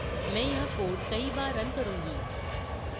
मैं यह code कई बार रन करूँगी